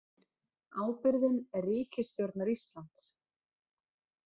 Ábyrgðin er ríkisstjórnar Íslands